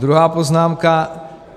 Druhá poznámka.